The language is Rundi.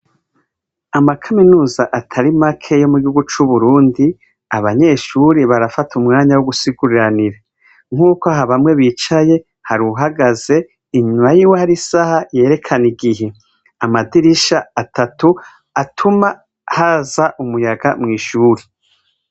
Amakaminuza atari make yo mu gihugu c'uburundi abanyeshuri barafata umwanya wo gusiguriranira nk'uko ha bamwe bicaye hari uhagaze inyuma yiwe hari isaha yerekane igihe amadirisha atatu atuma haza umuyaga mw'ishuri.